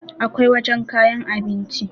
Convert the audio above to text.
akwai wajen kayan abinci